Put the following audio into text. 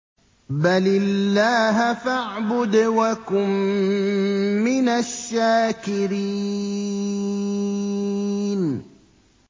بَلِ اللَّهَ فَاعْبُدْ وَكُن مِّنَ الشَّاكِرِينَ